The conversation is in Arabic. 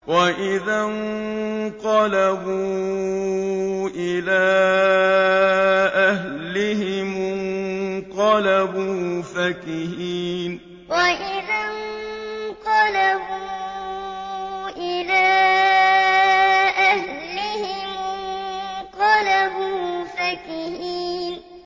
وَإِذَا انقَلَبُوا إِلَىٰ أَهْلِهِمُ انقَلَبُوا فَكِهِينَ وَإِذَا انقَلَبُوا إِلَىٰ أَهْلِهِمُ انقَلَبُوا فَكِهِينَ